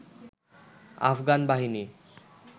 আফগান বাহিনীর